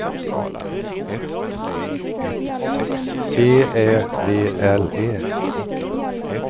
G Ä V L E